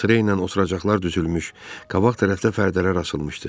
Sıra ilə oturacaqlar düzülmüş, qabaq tərəfdə pərdələr açılmışdı.